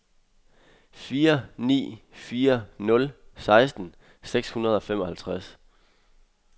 fire ni fire nul seksten seks hundrede og femoghalvtreds